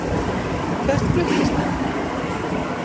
Hvert fluttist hann?